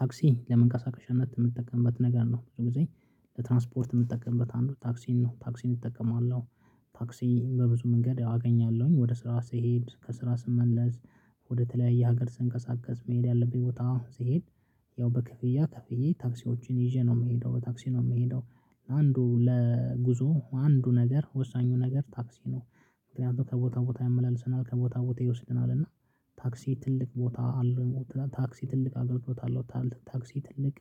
ታክሲ ለምን ከሳካሻነት የምትጠቀምበት ነገር ነው ብዙ ጊዜ ለትራንስፖርት የምትጠቀምበት አንዱ ታክሲን ነው። ታክሲን እጠቀማለሁ። ታክሲ በብዙ መንገድ አገኛለሁኝ ወደ ስራ ስሄድ ከስራ ስመለስ። ወደተለያየ ሀገር ስንቀሳቀስ መሄድ ያለብኝ ቦታ ስሄድ። ያው በክፍያ ክፍያ ታክሲዎችን ይዤ ነው የምሄደው በታክሲ ነው የምሄደው። ለአንዱ ለጉዞ አንዱ ነገር ወሳኙ ነገር ታክሲ ነው። እንደው ከቦታ ቦታ ያመላልሰናል ከቦታ ቦታ ይወስደናል። እና ታክሲ ትልቅ ቦታ አለ ታክሲ ትልቅ አገልግሎት አለው። ታክሲ ትልቅ